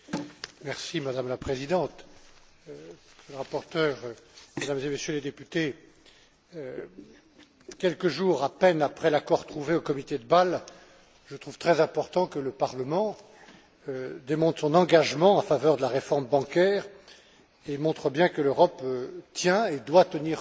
Madame la Présidente, Monsieur le rapporteur, Mesdames et Messieurs les députés, quelques jours à peine après l'accord trouvé au comité de Bâle, je trouve très important que le Parlement démontre son engagement en faveur de la réforme bancaire et montre bien que l'Europe tient et doit tenir son rang